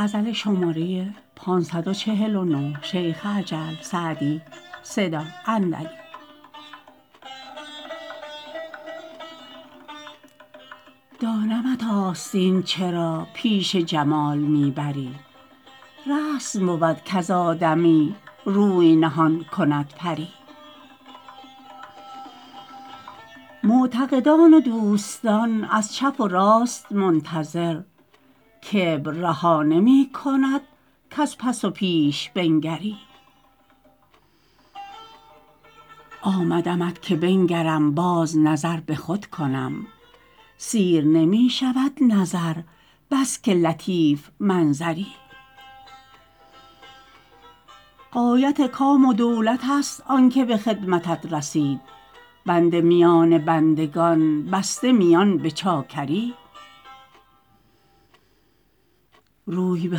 دانمت آستین چرا پیش جمال می بری رسم بود کز آدمی روی نهان کند پری معتقدان و دوستان از چپ و راست منتظر کبر رها نمی کند کز پس و پیش بنگری آمدمت که بنگرم باز نظر به خود کنم سیر نمی شود نظر بس که لطیف منظری غایت کام و دولت است آن که به خدمتت رسید بنده میان بندگان بسته میان به چاکری روی به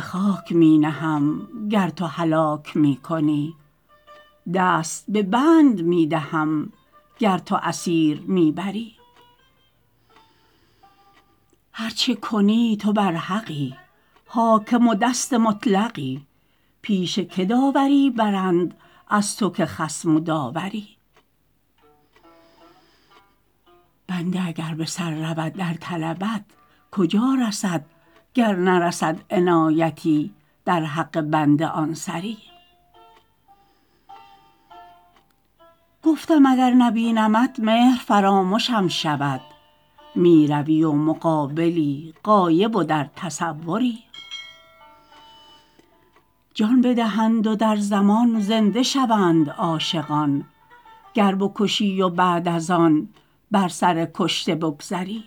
خاک می نهم گر تو هلاک می کنی دست به بند می دهم گر تو اسیر می بری هر چه کنی تو برحقی حاکم و دست مطلقی پیش که داوری برند از تو که خصم و داوری بنده اگر به سر رود در طلبت کجا رسد گر نرسد عنایتی در حق بنده آن سری گفتم اگر نبینمت مهر فرامشم شود می روی و مقابلی غایب و در تصوری جان بدهند و در زمان زنده شوند عاشقان گر بکشی و بعد از آن بر سر کشته بگذری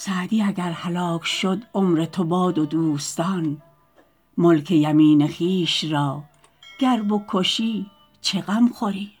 سعدی اگر هلاک شد عمر تو باد و دوستان ملک یمین خویش را گر بکشی چه غم خوری